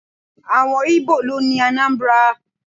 Àwọn Íbò ló ni Anambra.